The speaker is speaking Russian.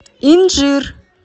инжир